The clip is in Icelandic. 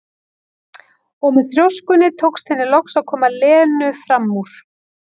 Og með þrjóskunni tókst henni loks að koma Lenu fram úr.